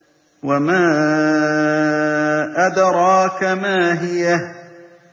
وَمَا أَدْرَاكَ مَا هِيَهْ